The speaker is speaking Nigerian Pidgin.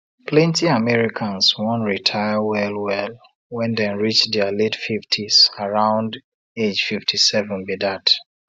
plenty americans wan retire well well when dem reach dia late 50s around age 57 be dat